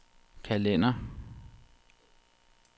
kalender